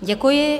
Děkuji.